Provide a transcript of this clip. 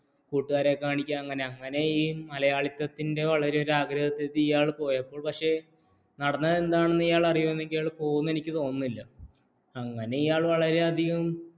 കൂട്ടുകാരെ കാണിക്കാൻ അങ്ങനെ ഈ മലയാളത്തിന്റെ വളരെ ഒരു ആഗ്രഹത്തിന് പോയപ്പോള് നടന്നത്തേതാണെന്ന് എയാൾ പോകും എന്നു തോന്നുന്നില്ല അങ്ങനെ എയാൾ വളരെയധികം